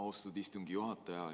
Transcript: Austatud istungi juhataja!